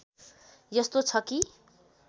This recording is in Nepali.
यस्तो छ कि